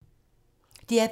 DR P2